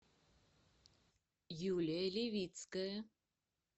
юлия левицкая